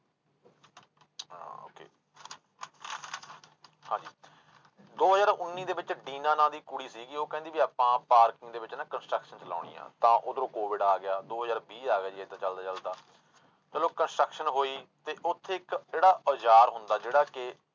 ਦੋ ਹਜ਼ਾਰ ਉੱਨੀ ਦੇ ਵਿੱਚ ਡੀਨਾ ਨਾਂ ਕੁੜੀ ਸੀਗੀ ਉਹ ਕਹਿੰਦੀ ਵੀ ਆਪਾਂ parking ਦੇ ਵਿੱਚ ਨਾ construction ਚਲਾਉਣੀ ਹੈ ਤਾਂ ਉਧਰੋਂ COVID ਆ ਗਿਆ ਦੋ ਹਜ਼ਾਰ ਵੀਹ ਆ ਗਿਆ ਜੀ ਏਦਾਂ ਚੱਲਦਾ ਚੱਲਦਾ, ਚਲੋ construction ਹੋਈ ਤੇ ਉੱਥੇ ਇੱਕ ਜਿਹੜਾ ਔਜ਼ਾਰ ਹੁੰਦਾ ਜਿਹੜਾ ਕਿ